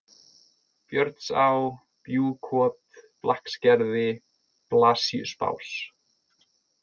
Björnsá, Bjúgkot, Blakksgerði, Blasíusbás